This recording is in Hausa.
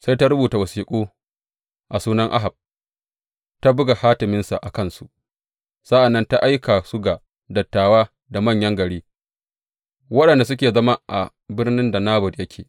Sai ta rubuta wasiƙu a sunan Ahab, ta buga hatiminsa a kansu, sa’an nan ta aika su ga dattawa da manyan gari waɗanda suke zama a birnin da Nabot yake.